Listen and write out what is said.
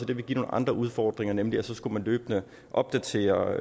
det ville give nogle andre udfordringer nemlig at så skulle man løbende opdatere